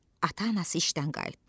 Ata-anası işdən qayıtdı.